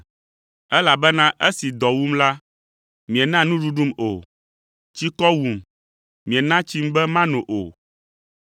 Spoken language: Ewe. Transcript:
elabena esi dɔ wum la, miena nuɖuɖum o, tsikɔ wum miena tsim be mano o.